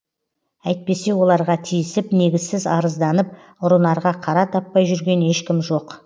әйтпесе оларға тиісіп негізсіз арызданып ұрынарға қара таппай жүрген ешкім жоқ